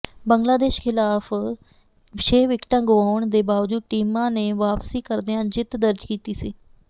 ਬੰਗਲਾਦੇਸ਼ ਖ਼ਿਲਾਫ਼ ਛੇ ਵਿਕਟਾਂ ਗੁਆਉਣ ਦੇ ਬਾਵਜੂਦ ਟੀਮ ਨੇ ਵਾਪਸੀ ਕਰਦਿਆਂ ਜਿੱਤ ਦਰਜ ਕੀਤੀ ਸੀ